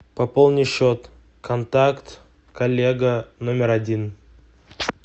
пополни счет контакт коллега номер один